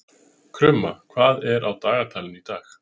Krumma, hvað er á dagatalinu í dag?